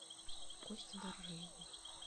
косте доржиеву